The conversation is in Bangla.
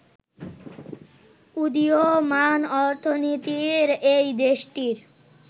উদীয়মান অর্থনীতির এই দেশটির